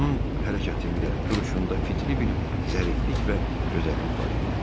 Onun hərəkətində, duruşunda fitri bir zəriflik və gözəllik var idi.